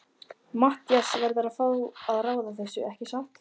Matthías verður að fá að ráða þessu, ekki satt?